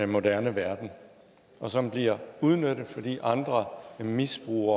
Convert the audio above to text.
moderne verden og som bliver udnyttet fordi andre misbruger